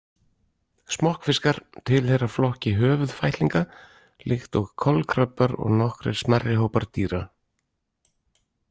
Smokkfiskar tilheyra flokki höfuðfætlinga líkt og kolkrabbar og nokkrir smærri hópar dýra.